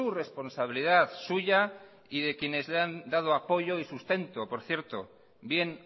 responsabilidad suya y de quienes le han dado apoyo y sustento por cierto bien